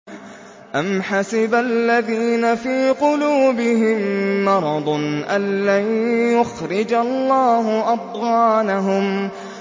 أَمْ حَسِبَ الَّذِينَ فِي قُلُوبِهِم مَّرَضٌ أَن لَّن يُخْرِجَ اللَّهُ أَضْغَانَهُمْ